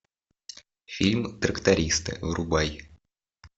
фильм трактористы врубай